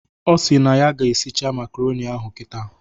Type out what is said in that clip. Ọ sịrị na ya ga-eshiche makaronị ahụ kịta